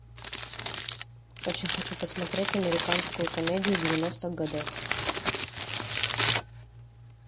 очень хочу посмотреть американскую комедию девяностых годов